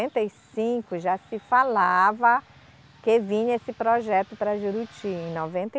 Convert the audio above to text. e cinco, já se falava que vinha esse projeto para Juruti. Em noventa e